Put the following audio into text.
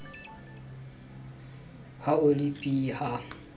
ho a le b ha